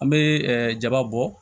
An bɛ jaba bɔ